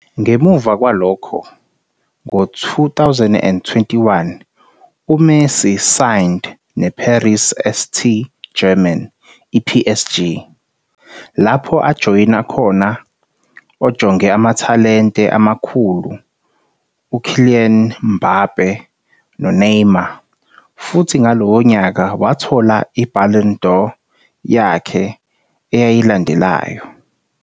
Ngemuva kwalokho, ngo-2021 uMessi signed ne-Paris St.-Germain, PSG, lapho ajoyina khona ojonge amathalente amakhulu uKylian Mbappé noNeymar, futhi ngalowo nyaka wathola iBallon d'Or yakhe eyayilandelayo.